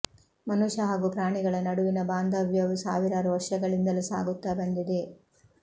ಮನುಷ್ಯ ಹಾಗೂ ಪ್ರಾಣಿಗಳ ನಡುವಿನ ಭಾಂದವ್ಯವು ಸಾವಿರಾರು ವರ್ಷಗಳಿಂದಲೂ ಸಾಗುತ್ತಾ ಬಂದಿದೆ